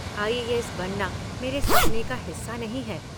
IAS बनना मेरे सपने का हिस्सा नहीं है।